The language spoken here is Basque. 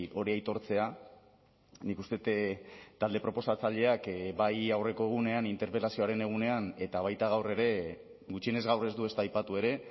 hori aitortzea nik uste dut talde proposatzaileak bai aurreko egunean interpelazioaren egunean eta baita gaur ere gutxienez gaur ez du ezta aipatu ere